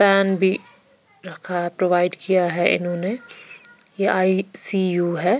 Pan भी रखा provide किया है इन्होंने ये आईसीयू है।